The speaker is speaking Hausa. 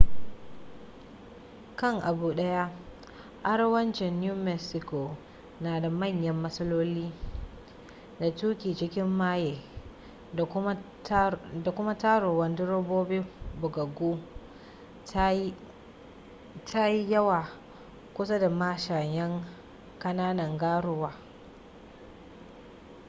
kan abu daya arewacin new mexico na da manya matsaloli da tuki cikin maye da kuma taruwan direbobi bugaggu ta yi yawwa kusa da mashayan kananan garuwa